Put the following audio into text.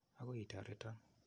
Akoi itoreton.